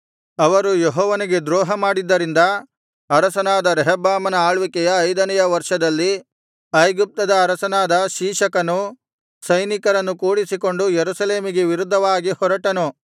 ಅವರು ಯೆಹೋವನಿಗೆ ದ್ರೋಹಮಾಡಿದ್ದರಿಂದ ಅರಸನಾದ ರೆಹಬ್ಬಾಮನ ಆಳ್ವಿಕೆಯ ಐದನೆಯ ವರ್ಷದಲ್ಲಿ ಐಗುಪ್ತದ ಅರಸನಾದ ಶೀಶಕನು ಸೈನಿಕರನ್ನು ಕೂಡಿಸಿಕೊಂಡು ಯೆರೂಸಲೇಮಿಗೆ ವಿರುದ್ಧವಾಗಿ ಹೊರಟನು